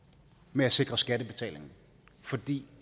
med at sikre skattebetalinger fordi